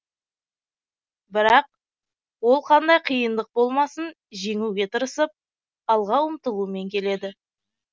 бірақ ол қандай қиындық болмасын жеңуге тырысып алға ұмтылумен келеді